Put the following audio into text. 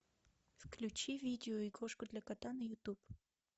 включи видео игрушка для кота на ютуб